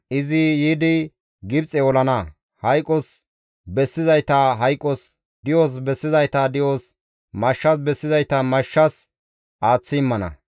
Izi yiidi Gibxe olana; hayqos bessizayta hayqos, di7os bessizayta di7os, mashshas bessizayta mashshas aaththi immana.